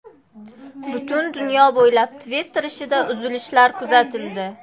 Butun dunyo bo‘ylab Twitter ishida uzilishlar kuzatildi.